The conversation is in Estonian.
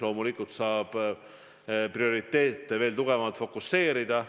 Loomulikult saab prioriteete veel paremini fokuseerida.